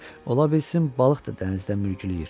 Ola bilsin balıq da dənizdə mürgüləyir.